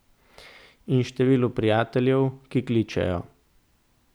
In številu prijateljev, ki kličejo.